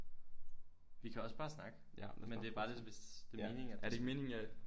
Vi kan også bare snakke men det er bare det hvis det er meningen at det skal